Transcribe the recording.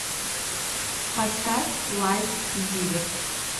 поставь лайф зиверт